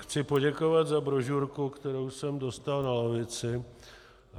Chci poděkovat za brožurku, kterou jsem dostal na lavici.